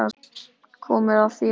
Komið að þér.